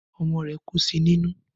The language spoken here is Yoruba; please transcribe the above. Ọmọ rẹ̀ kú sí nínú